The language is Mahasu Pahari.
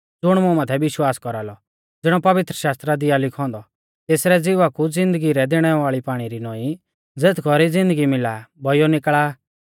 ज़ुण मुं माथै विश्वास कौरालौ ज़िणौ पवित्रशास्त्रा दी आ लिखौ औन्दौ तेसरै ज़िवा कु ज़िन्दगी दैणै वाल़ी पाणी री नौईं ज़ेथ कौरी ज़िन्दगी मिला बौइयौ निकल़ा